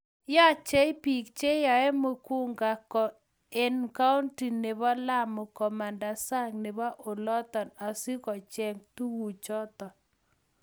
yochei biik chenyeei muguka eng kaunti nebo Lamu komanda sang nebo oloto asikocheny tukuchoto